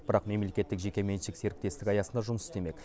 бірақ мемлекеттік жекеменшік серіктестік аясында жұмыс істемек